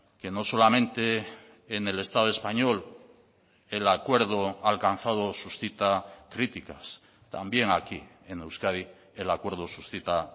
que no solamente en el estado español el acuerdo alcanzado suscita críticas también aquí en euskadi el acuerdo suscita